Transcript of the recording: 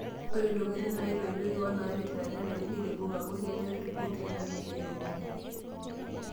Ore ntokitin naitoipieki onaapetita nenare neirebuk amu kenyor irkurt eng'weji nairebuk.